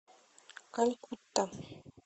калькутта